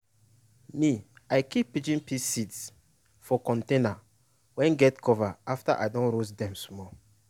me i keep pigeon pea seed for container wey get cover after i don roast dem small